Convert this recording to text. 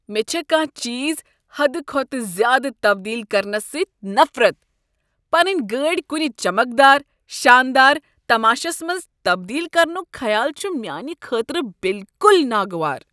مےٚ چھےٚ کانٛہہ چیٖز حدٕ کھۄتہٕ زیادٕ تبدیل کرنس سۭتۍ نفرت۔ پنٕنۍ گاڑ کنہ چمکدار، شاندار تماشس منٛز تبدیل کرنک خیال چھ میانہ خٲطرٕ بالکل ناگوار۔